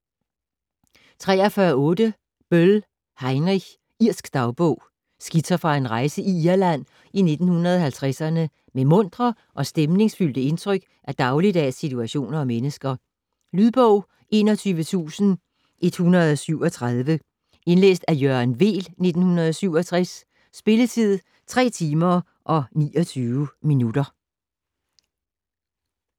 43.8 Böll, Heinrich: Irsk dagbog Skitser fra en rejse i Irland i 1950'erne med muntre og stemningsfyldte indtryk af dagligdags situationer og mennesker. Lydbog 21137 Indlæst af Jørgen Weel, 1967. Spilletid: 3 timer, 29 minutter.